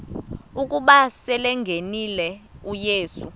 ukuba selengenile uyesu